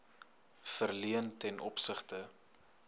verleen ten opsigte